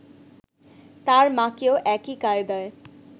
তার মাকেও একই কায়দায়